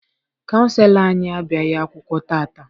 Kaụnselọ anyị abịaghị akwụkwọ taata.